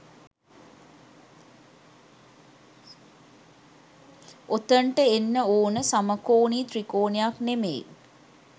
ඔතෙන්ට එන්න ඕන සමකෝණී ත්‍රිකෝණයක් නෙමෙයි